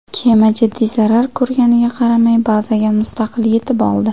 Kema jiddiy zarar ko‘rganiga qaramay, bazaga mustaqil yetib oldi.